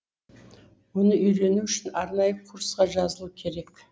оны үйрену үшін арнайы курсқа жазылу керек